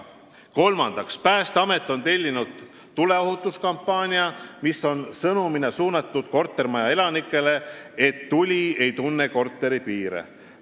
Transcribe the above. Kolmandaks, Päästeamet tellis PBK-lt tuleohutuskampaania, mille sõnum on suunatud kortermaja elanikele – tuli ei tunne korteri piire.